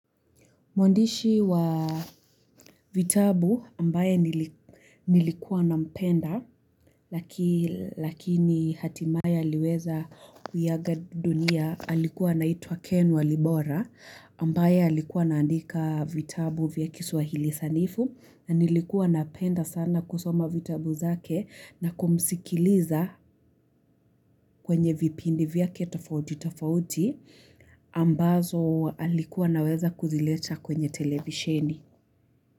Mwandishi wa vitabu ambaye nilikuwa nampenda Lakini hatimaya aliweza kuiaga dunia alikuwa anaitwa Ken wa Libora ambaye alikuwa anaandika vitabu vya kiswahili sanifu na nilikuwa napenda sana kusoma vitabu zake na kumsikiliza kwenye vipindi vyake tafauti tafauti ambazo alikuwa anaweza kuzileta kwenye televisheni.